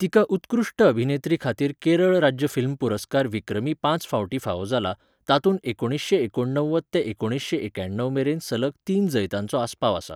तिका उत्कृश्ट अभिनेत्री खातीर केरळ राज्य फिल्म पुरस्कार विक्रमी पांच फावटीं फावो जाला, तातूंत एकुणीसशें एकोणव्वद ते एकुणीसशें एक्याणव मेरेन सलग तीन जैतांचो आस्पाव आसा.